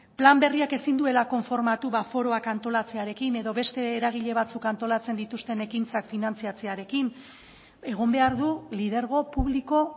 plan berriak ezin duela konformatu foroak antolatzearekin eta beste eragile batzuk antolatzen dituzten ekintzak finantzatzearekin egon behar du lidergo publiko